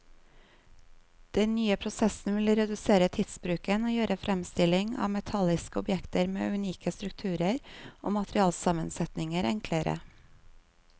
Den nye prosessen vil redusere tidsbruken og gjøre fremstilling av metalliske objekter med unike strukturer og materialsammensetninger enklere.